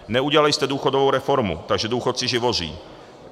Neudělali jste důchodovou reformu, takže důchodci živoří.